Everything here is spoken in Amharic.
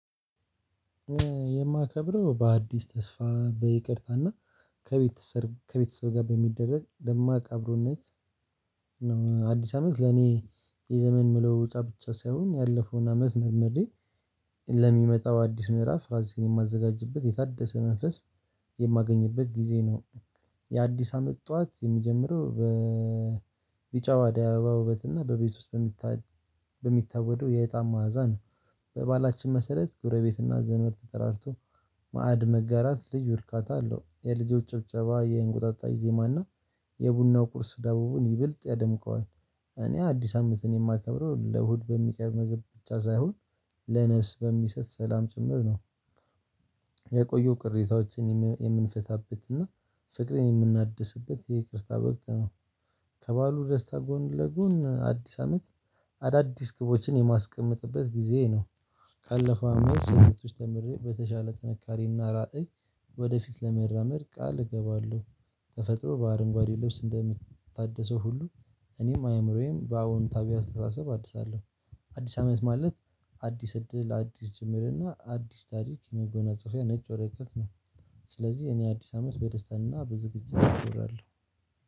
የማከብረው በአዲስ ተስፋ በይቅርታና ከቤተሰብ ከቤተሰብ ጋር በሚደረግ ደማቅ አብሮነት ነው። አዲስ አመት ለኔ የዘመን መለው ውጫ ብቻ ሳይሆን ያለፈውን አመት መርመሬ። ለሚመጣው አዲስ ምዕራፍ ራሴን የማዘጋጅበት የታደሰ መንፈስ የማገኝበት ጊዜ ነው። የአዲስ አመት ጠዋት የሚጀምረው በቢጫ አደይ አበባ ውበት እና በቤት ውስጥ በሚታወደው የእጣን መዓዛ ነው። በባህላችን መሰረት ጎረቤት እና ዘመር ተጠራርቶ ማዕድ መጋራት ልዩ እርካታ አለው። የልጆች ጭብጨባ የእንቁጣጣ ዜማና የቡናው ቁርስ ዳቦውን ይበልጥ ያደምቀዋል። እኔ አዲስ አመትን የማከብረው ለሆድ በሚቀርብ ምግብ ብቻ ሳይሆን ለነፍስ በሚሰጥ ሰላም ጭምር ነው። የቆየው ቅሬታዎችን የምንፈታበት እና ፍቅሬን የምናድስበት የይቅርታ በወቅት ነው። ከባሉ ደስታ ጎን ለጎን አዲስ አመት አዳዲስ ግቦችን የማስቀምጥበት ጊዜ ነው። ካለፈው አመት ስህተቶች ተምሬ በተሻለ ጥንካሬና ራዕይ ወደፊት ለመራመድ ቃል እገባለሁ። ተፈጥሮ በአረንጓዴ ልብስ እንደምታደሰው ሁሉ እኔም አእምሮዬም በአወንታዊ አስተሳሰብ አድሳለሁ። አዲስ አመት ማለት አዲስ እድል አዲስ ጀምር እና አዲስ ታሪክ የመጎናጸፊያ ነጭ ወረቀት ነው። ስለዚህ እኔ አዲስ አመት በደስታና በዝግጅት እከብራለሁ።